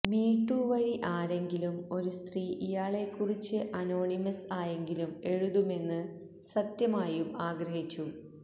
me too വഴി ആരെങ്കിലും ഒരു സ്ത്രീ ഇയാളെക്കുറിച്ച് അനോണിമസ് ആയെങ്കിലും എഴുതുമെന്ന് സത്യമായും ആഗ്രഹിച്ചു